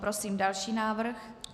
Prosím další návrh.